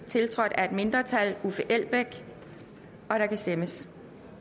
tiltrådt af et mindretal og der kan stemmes